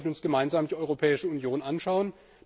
Wir sollten uns gemeinsam die Europäische Union anschauen.